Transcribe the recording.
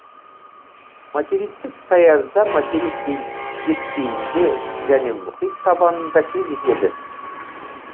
материктік саязда материк беткейінде және мұхит табанында кездеседі